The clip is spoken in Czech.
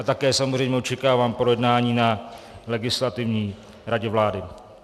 A také samozřejmě očekávám projednání na Legislativní radě vlády.